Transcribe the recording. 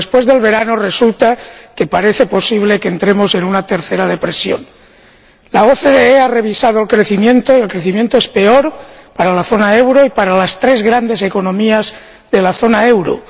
Pero después del verano, resulta que parece posible que entremos en una tercera depresión la OCDE ha revisado el crecimiento, y el crecimiento es peor para la zona del euro y para las tres grandes economías de la zona del euro.